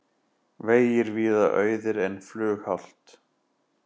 Vegir víða auðir en flughált